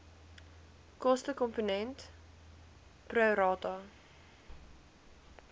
kostekomponent pro rata